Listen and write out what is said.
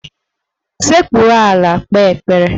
Sekpuru ala kpee ekpere!